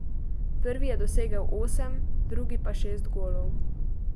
Prvi je dosegel osem, drugi pa šest golov.